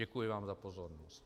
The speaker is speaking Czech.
Děkuji vám za pozornost.